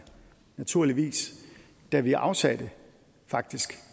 naturligvis da vi afsatte faktisk